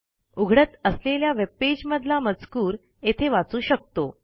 उघडत असलेल्या वेब पेजमधला मजकूर येथे वाचू शकतो